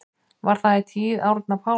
Var það í tíð Árna Páls